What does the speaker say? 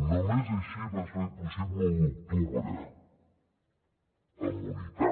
només així va ser possible l’u d’octubre amb unitat